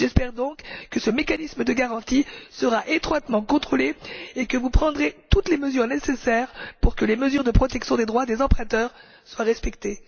J'espère donc que ce mécanisme de garantie sera étroitement contrôlé et que vous prendrez toutes les mesures nécessaires pour que les mesures de protection des droits des emprunteurs soient respectées.